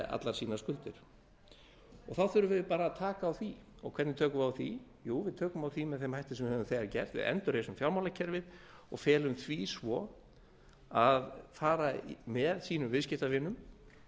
allar sínar skuldir þá þurfum við bara að taka á því hvernig tökum við á því jú við tökum á því með þeim hætti sem við höfum þegar gert við endurreisum fjármálakerfið og felum því svo að fara með sínum viðskiptavinum